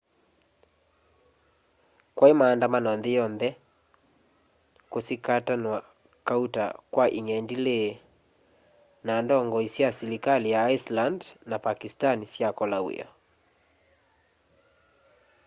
kwai maandamano nthi yonthe kusikatanwa kauta kwa ung'endili na ndongoi sya silikali sya iceland na pakistan syakola wia